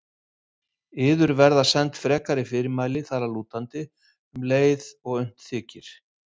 Yður verða send frekari fyrirmæli þar að lútandi um leið og unnt þykir.